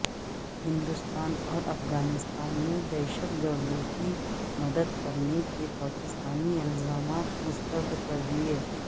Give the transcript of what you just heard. ہندوستان اور افغانستان نے دہشت گردوں کی مدد کرنے کے پاکستانی الزامات مسترد کر دیے